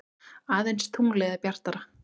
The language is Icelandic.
Aðeins tunglið er bjartara.